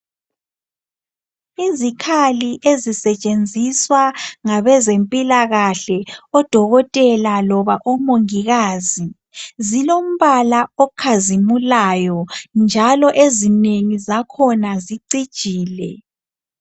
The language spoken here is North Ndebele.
Izikhali ezisetshenziswa ngabezempilakahle odokotela loba omongikazi zilombala okhazimulayo njalo ezinengi zakhona zicijile.